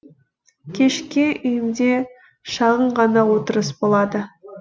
кешке үйімде шағын ғана отырыс болады